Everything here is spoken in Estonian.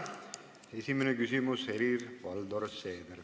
Esimene küsimus, Helir-Valdor Seeder.